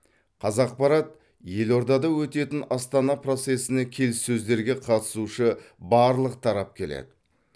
қазақпарат елордада өтетін астана процесіне келіссөздерге қатысушы барлық тарап келеді